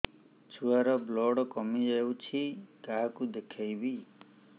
ଛୁଆ ର ବ୍ଲଡ଼ କମି ଯାଉଛି କାହାକୁ ଦେଖେଇବି